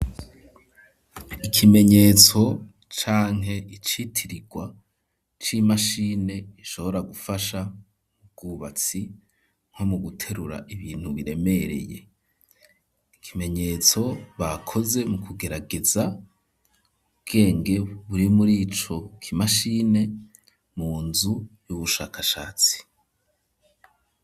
Ikimenyetso canke icitirirwa c'imashine ishobora gufasha mu bwubatsi nko mu guterura ibintu biremereye ikimenyetso bakoze mu kugerageza ubwenge buri murico kimashine mu nzu y'ubushakashatsi.